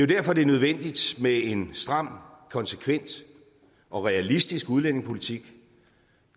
derfor det er nødvendigt med en stram konsekvent og realistisk udlændingepolitik